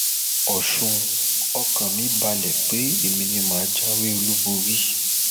ọsùn ọkàn mi balẹ pé èmi ni mà á jáwé olúborí